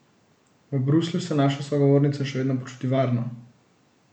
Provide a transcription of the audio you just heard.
V Bruslju se naša sogovornica še vedno počuti varno.